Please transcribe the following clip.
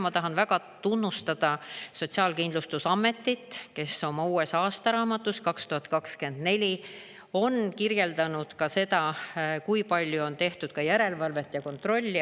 Ma tahan väga tunnustada Sotsiaalkindlustusametit, kes oma uues aastaraamatus 2024 on kirjeldanud seda, kui palju on tehtud ka järelevalvet ja kontrolli.